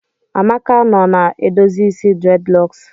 Amaka nọ na edozi isi dreadlocks